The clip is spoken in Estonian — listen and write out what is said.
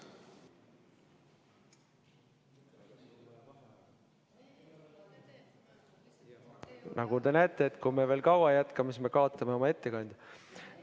Nagu te näete, kui me veel kaua sedasi jätkame, siis kaotame oma ettekandja.